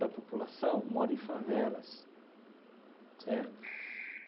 da população mora em favelas, certo?